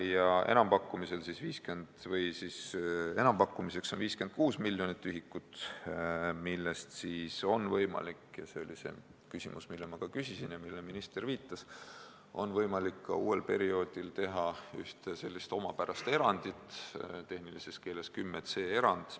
Ja enampakkumiseks on 56 miljonit ühikut, millest on võimalik – see oli see küsimus, mille ma küsisin ja millele minister viitas – ka uuel perioodil teha üks selline omapärane erand, tehnilises keeles 10c erand.